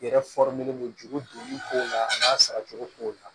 I yɛrɛ b'o ju donni ko la a n'a saracogo k'o la